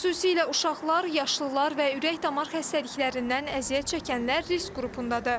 Xüsusilə uşaqlar, yaşlılar və ürək-damar xəstəliklərindən əziyyət çəkənlər risk qrupundadır.